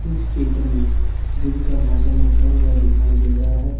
इस चित्र में दिन का मौसम होता हुआ दिखाई दे रहा है।